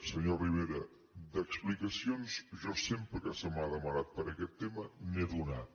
senyor rivera d’explica·cions jo sempre que se m’ha demanat per aquest tema n’he donat